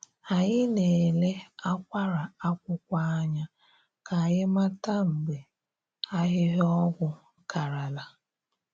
Anyị na-ele akwara akwụkwọ anya ka anyị mata mgbe ahịhịa ọgwụ karala.